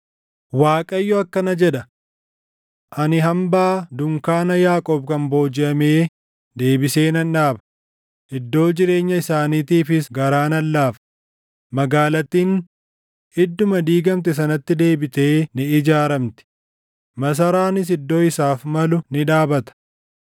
“ Waaqayyo akkana jedha: “ ‘Ani hambaa dunkaana Yaaqoob kan boojiʼamee deebisee nan dhaaba; iddoo jireenya isaaniitiifis garaa nan laafa; magaalattiin idduma diigamte sanatti deebitee ni ijaaramti; masaraanis iddoo isaaf malu ni dhaabata.